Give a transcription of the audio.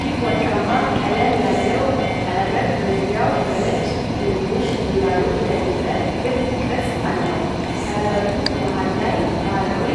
ይህ ወርቃማ ቀለም ያለው ቀለበት በዙሪያው በነጭ ትንንሽ ድንጋዮች ያጌጠ ክብ ቅርጽ አለው። ቀለበቱ መሃል ላይ ባህላዊ